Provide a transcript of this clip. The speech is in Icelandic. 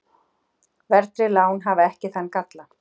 Verðtryggð lán hafa ekki þann galla.